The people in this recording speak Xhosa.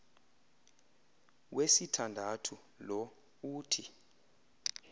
wesithandathu lo uthi